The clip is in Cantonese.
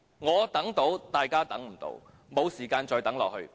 我能等，但大家不能等，我們沒有時間再等下去。